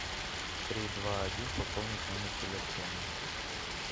три два один пополнить номер телефона